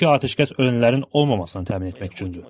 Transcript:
Çünki atəşkəs ölənlərin olmamasını təmin etmək üçündür.